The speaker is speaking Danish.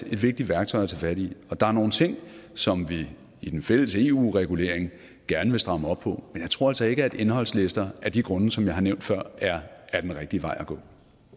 er et vigtigt værktøj at tage fat i der er nogle ting som vi i den fælles eu regulering gerne vil stramme op på men jeg tror altså ikke at indholdslister af de grunde som jeg har nævnt før er den rigtige vej at gå